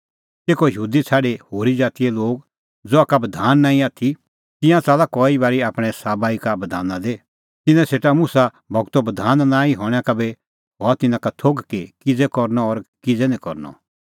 तेखअ यहूदी छ़ाडी होरी ज़ातीए लोग ज़हा का बधान नांईं आथी तिंयां च़ला कई बारी आपणैं सभाबा ई का बधाना दी तिन्नां सेटा मुसा गूरो बधान नांईं हणैं का बी हआ तिन्नां का थोघ कि किज़ै करनअ और किज़ै निं करनअ